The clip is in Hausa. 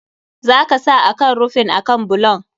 Za ka sa akan rufin akan bulon.